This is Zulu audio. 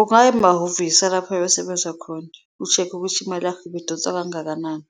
Ungaya emahhovisi alapho ebesebenza khona usheke ukuthi imali yakhe ibidonsa kangakanani,